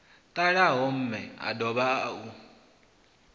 ṱalaho mme o dovha u